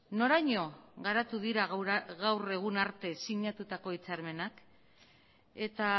noraino garatu dira gaur arte sinatutako hitzarmenak eta